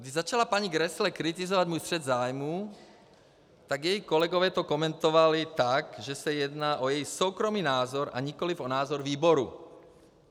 Když začala paní Grässle kritizovat můj střet zájmů, tak její kolegové to komentovali tak, že se jedná o její soukromý názor, a nikoli o názor výboru.